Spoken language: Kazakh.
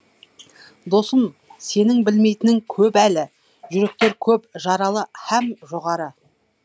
досым сенің білмейтінің көп әлі жүректер көп жаралы һәм жоғары